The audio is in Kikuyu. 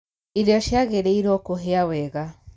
Irio ciagĩrĩirwo kũhĩa wega